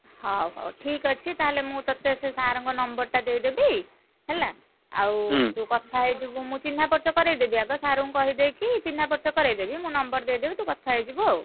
ହଉ ହଉ ଠିକ୍ ଅଛି ତାହେଲେ ମୁଁ ତତେ ସେ sir ଙ୍କ number ଟା ଦେଇଦେବି, ହେଲା, ଆଉ ତୁ କଥା ହେଇଯିବୁ ମୁଁ ଚିହ୍ନା ପରିଚୟ କରେଇ ଦେବି ଆଗ sir ଙ୍କୁ କହିଦେଇକି ଚିହ୍ନା ପରିଚୟ କରେଇଦେବି। ମୁଁ number ଦେଇଦେବି ତୁ କଥା ହେଇଯିବୁ ଆଉ।